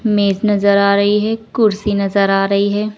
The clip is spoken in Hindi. मेज नजर आ रही है कुर्सी नजर आ रही है।